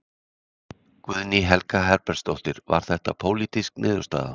Guðný Helga Herbertsdóttir: Var þetta pólitísk niðurstaða?